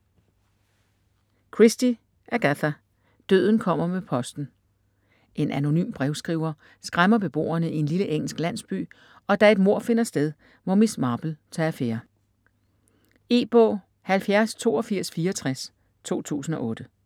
Christie, Agatha: Døden kommer med posten En anonym brevskriver skræmmer beboerne i en lille engelsk landsby, og da et mord finder sted, må Miss Marple tage affære. E-bog 708264 2008.